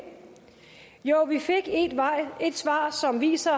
jo vi fik et svar som viser